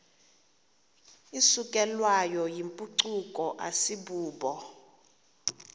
isukelwayo yimpucuko asibubo